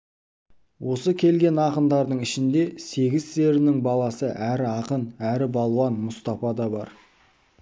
осы келген ақындардың ішінде сегіз-серінің баласы әрі ақын әрі балуан мұстапа да бар